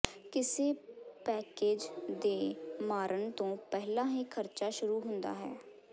ਕਿਸੇ ਪੈਕੇਜ ਦੇ ਮਾਰਨ ਤੋਂ ਪਹਿਲਾਂ ਹੀ ਖਰਚਾ ਸ਼ੁਰੂ ਹੁੰਦਾ ਹੈ